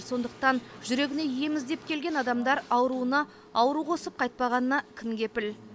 сондықтан жүрегіне ем іздеп келген адамдар ауруына ауру қосып қайтпағанына кім кепіл